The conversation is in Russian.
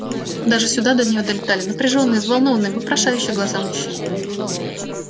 даже сюда до неё долетали напряжённые взволнованные вопрошающие голоса мужчин